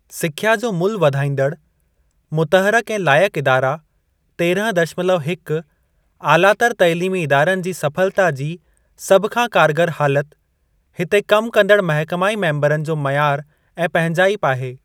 सिख्या जो मुल्हु वधाईंदड़, मुतहरक ऐं लाइकु इदारा तेरहं दशमलव हिक आलातर तइलीमी इदारनि जी सफलता जी सभ खां कारगर हालति, हिते कम कंदड़ महकमाई मेम्बरनि जो मयार ऐं पंहिंजाइप आहे।